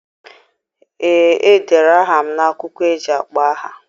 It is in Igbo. Ee, e dere aha m n'akwụkwọ eji akpọ aha.